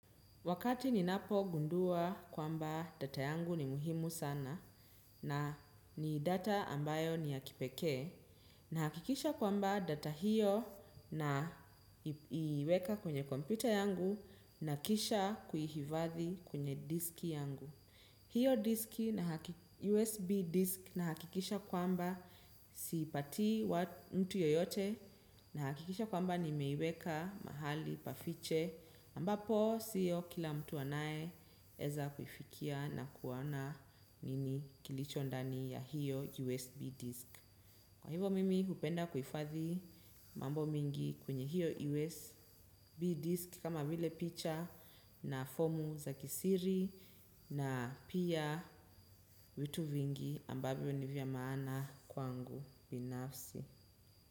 Wakati ninapo gundua kwamba data yangu ni muhimu sana na ni data ambayo ni ya kipekee na hakikisha kwamba data hiyo na iweka kwenye kompyuta yangu na kisha kuifadhi kwenye disk yangu. Hiyo USB disk na hakikisha kwamba siipatii mtu yeyote na hakikisha kwamba nimeiweka mahali pafiche ambapo siyo kila mtu anayeeza kufikia na kuona nini kilicho ndani ya hiyo USB disk. Kwa hivo mimi upenda kuifathi mambo mengi kwenye hiyo USB disk kama vile picha na fomu za kisiri. Na pia vitu vingi ambavyo ni vyamaana kwangu binafsi.